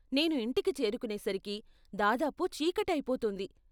నేను ఇంటికి చేరుకునేసరికి దాదాపు చీకటి అయిపోతుంది.